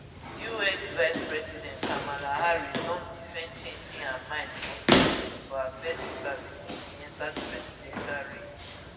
us vicepresident kamala harris don defend changing her mind on key issues for her first interview since she enta di presidential race